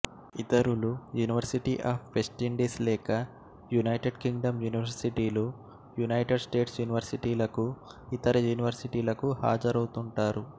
ఇతరులు University of West Indies లేక United Kingdom యూనివర్శిటీలు యునైటెడ్ స్టేట్స్ యూనివర్శిటీలకు ఇతర యూనివర్శిటీలకు హాజరౌతుంటారు